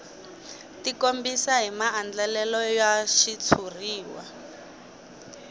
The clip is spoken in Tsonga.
tikombisa hi maandlalelo ya xitshuriwa